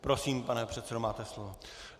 Prosím, pane předsedo, máte slovo.